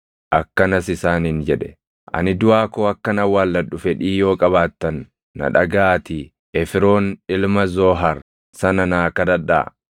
Akkanas isaaniin jedhe; “Ani duʼaa koo akkan awwaalladhu fedhii yoo qabaattan na dhagaʼaatii Efroon ilma Zoohar sana naa kadhadhaa.